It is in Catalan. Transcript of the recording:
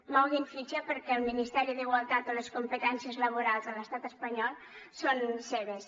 moguin fitxa perquè el ministeri d’igualtat o les competències laborals de l’estat espanyol són seves